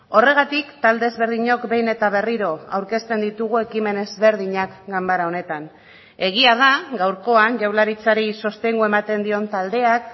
horregatik talde ezberdinok behin eta berriro aurkezten ditugu ekimen ezberdinak ganbara honetan egia da gaurkoan jaurlaritzari sostengua ematen dion taldeak